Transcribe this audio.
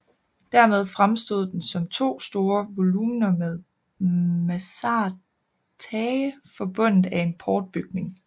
Dermed fremstod den som to store volumener med mansardtage forbundet af en portbygning